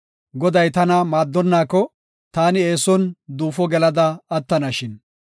Goday tana maaddonnaako, taani eeson duufo gelada attanashin.